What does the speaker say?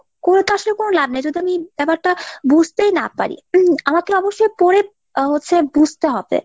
করে তো আসলে কোনো লাভ নেই। মানে যদি আমি ব্যাপারটা বুঝতেই না পারি, আমাকে অবশ্যই পড়ে আহ হচ্ছে বুঝতে হবে।